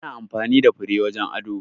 Ana amfani da fure wajen ado.